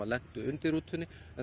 lentu undir rútu en